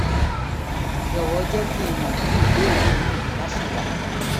jọ̀wọ́ jẹ́ kí n mọ̀ bí ìbéèrè mìíràn bá ṣì wà